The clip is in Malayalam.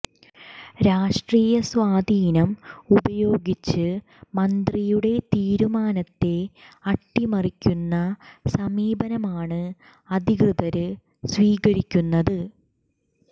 രാഷ്ട്രീയ സ്വാധീനം ഉപയോഗിച്ച് മന്ത്രിയുടെ തീരുമാനത്തെ അട്ടിമറിക്കുന്ന സമീപനമാണ് അധികൃതര് സ്വീകരിക്കുന്നത്